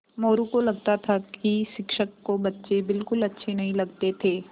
मोरू को लगता था कि शिक्षक को बच्चे बिलकुल अच्छे नहीं लगते थे